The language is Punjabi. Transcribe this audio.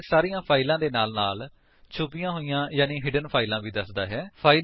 ਇਹ ਸਾਰੀਆਂ ਫਾਇਲਾਂ ਦੇ ਨਾਲ ਨਾਲ ਛੁਪੀਆਂ ਹੋਈਆਂ ਯਾਨੀ ਹਿਡਨ ਫਾਇਲਾਂ ਵੀ ਦੱਸਦਾ ਹੈ